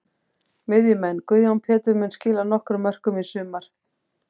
Miðjumenn: Guðjón Pétur mun skila nokkrum mörkum í sumar.